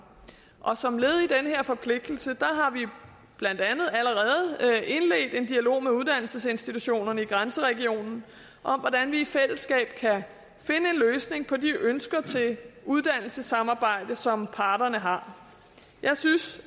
som led i den her forpligtelse har vi blandt andet allerede indledt en dialog med uddannelsesinstitutionerne i grænseregionen om hvordan vi i fællesskab kan finde en løsning på de ønsker til uddannelsessamarbejde som parterne har jeg synes